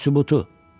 Bu da sübutu.